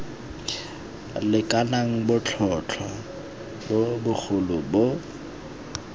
lekanang botlhotlhwa bo bogolo bo